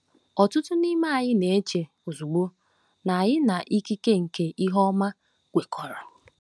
Ọtụtụ n'ime anyị na-eche ozugbo na anyị na ikike nke ihe ọma kwekọrọ.